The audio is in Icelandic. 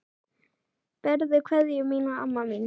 Berðu kveðju mína, amma mín.